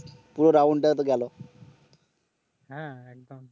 হ্যাঁ একদম